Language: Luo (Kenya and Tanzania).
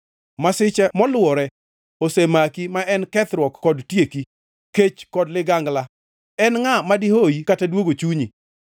Masiche moluwore osemaki ma en kethruok kod tieki; kech kod ligangla, en ngʼa madihoyi kata duogo chunyi.